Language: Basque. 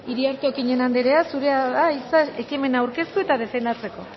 iriarte okiñena andrea zurea da hitza ekimena aurkeztu eta defendatzeko